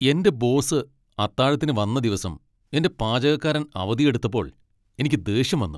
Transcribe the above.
എന്റെ ബോസ് അത്താഴത്തിന് വന്ന ദിവസം എന്റെ പാചകക്കാരൻ അവധിയെടുത്തപ്പോൾ എനിക്ക് ദേഷ്യം വന്നു.